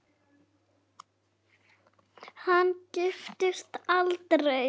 Hann giftist aldrei.